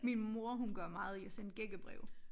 Min mor hun gør meget i at sende gækkebreve